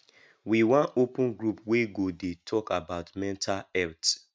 we wan open group wey go dey talk about mental health